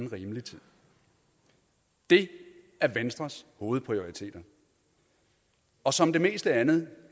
rimelig tid det er venstres hovedprioriteter og som det meste andet